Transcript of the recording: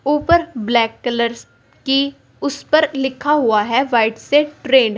ऊपर black colour की उस पर लिखा हुआ है वाइट से ट्रेड ।